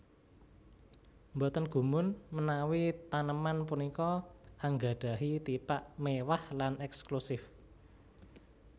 Boten gumun menawi taneman punika anggadhahi tipak méwah lan èkslusif